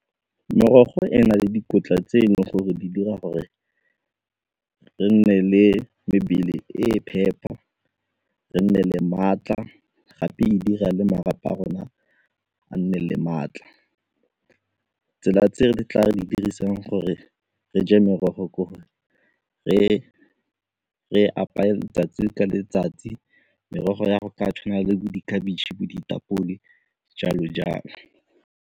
Merogo e na le dikotla tse e leng gore di dira gore re nne le mebele e e phepa, re nne le maatla gape e dira le marapo a rona a nne le maatla. Tsela tse re tla di dirisang gore re je merogo gore re apeye letsatsi ka letsatsi, merogo ya go tshwana le bo dikhabetšhe, bo ditapole jalo-jalo.